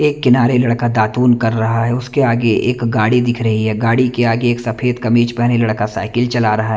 एक किनारे लड़का दातुन कर रहा है उसके आगे एक गाड़ी दिख रही है गाड़ी के आगे सफ़ेद कमीज पहना लड़का साइकिल चला रहा है।